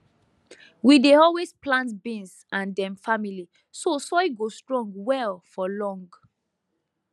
we dey always plant beans and dem family so soil go strong well for long